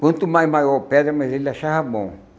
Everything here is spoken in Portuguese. Quanto mais maior a pedra, mais ele achava bom.